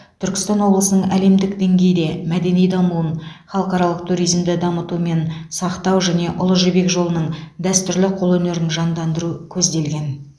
түркістан облысының әлемдік деңгейде мәдени дамуын халықаралық туризмді дамыту мен сақтау және ұлы жібек жолының дәстүрлі қолөнерін жандандыру көзделген